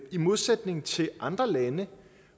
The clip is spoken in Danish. modsætning til andre lande